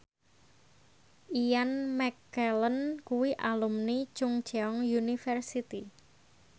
Ian McKellen kuwi alumni Chungceong University